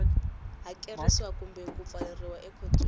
hakerisiwa kumbe ku pfaleriwa ekhotsweni